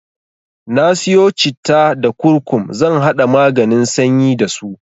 Na siyo citta da kurkum zan haɗa maganin sanyi dasu.